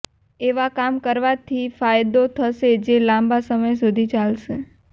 એવા કામ કરવાથી ફાયદો થશે જે લાંબા સમય સુધી ચાલશે